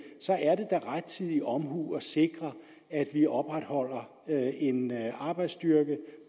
så er det da rettidig omhu at sikre at vi opretholder en arbejdsstyrke